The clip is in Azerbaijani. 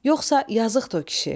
Yoxsa yazıqdı o kişi.